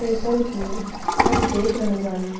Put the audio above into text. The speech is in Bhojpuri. जइसन की हम देख रहल बानी --